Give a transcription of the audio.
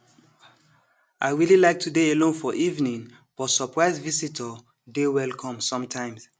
i really like to dey alone for evening but surprise visitor dey welcome sometimes